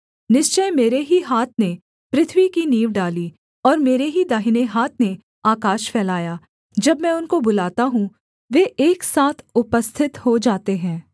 निश्चय मेरे ही हाथ ने पृथ्वी की नींव डाली और मेरे ही दाहिने हाथ ने आकाश फैलाया जब मैं उनको बुलाता हूँ वे एक साथ उपस्थित हो जाते हैं